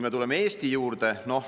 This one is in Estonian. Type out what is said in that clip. Tuleme Eesti juurde.